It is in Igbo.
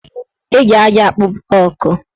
Eji aja akpụ blọọkụ